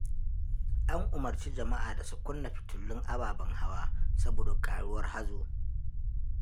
An umarci jama'a da su kunna fitulun ababen hawa, saboda ƙaruwar hazo.